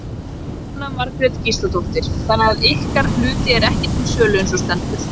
Jóhanna Margrét Gísladóttir: Þannig að ykkar hluti er ekki til sölu eins og stendur?